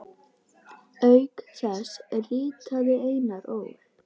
Auk þess ritaði Einar Ól.